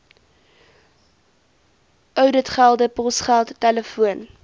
ouditgelde posgeld telefoon